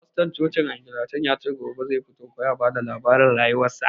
Fastorn cocin angilican yace gobe zai sa kowa ya fito ya ba da labarin rayuwar sa